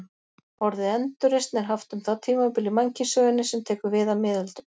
Orðið endurreisn er haft um það tímabil í mannkynssögunni sem tekur við af miðöldum.